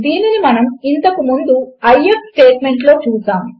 దీనిని మనము ఇంతకు ముందు ఐఎఫ్ స్టేట్మెంట్లో చూసాము